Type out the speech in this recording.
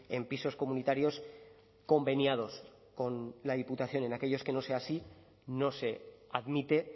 en pisos comunitarios conveniados con la diputación en aquellos que no sea así no se admite